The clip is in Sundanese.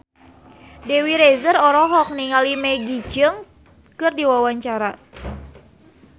Dewi Rezer olohok ningali Maggie Cheung keur diwawancara